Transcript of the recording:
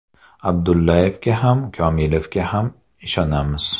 Abdullayevga ham, Komilovga ham ishonamiz.